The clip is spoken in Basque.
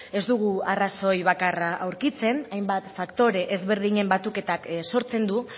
ez dugu arrazoi bakarra aurkitzen hainbat faktore ezberdinen batuketak sortzen du